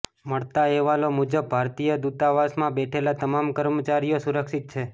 મળતા અહેવાલો મુજબ ભારતીય દૂતાવાસમાં બેઠેલા તમામ કર્મચારીઓ સુરક્ષિત છે